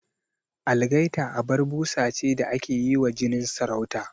Algaita abar busa ce da ake yi wa jinin sarauta